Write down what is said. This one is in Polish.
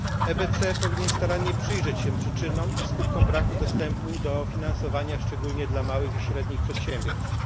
EBC powinien starannie przyjrzeć się przyczynom i skutkom braku dostępu do finansowania, szczególnie dla małych i średnich przedsiębiorstw.